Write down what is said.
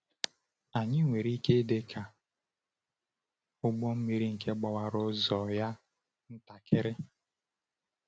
Anyị nwere ike ịdị ka ụgbọ mmiri nke gbawara ụzọ ya ntakịrị.